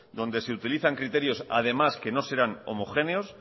donde se utilizan criterios además que no serán homogéneos